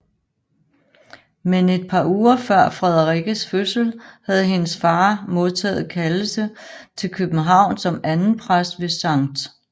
Men et par uger før Frederikkes fødsel havde hendes far modtaget kaldelse til København som andenpræst ved Skt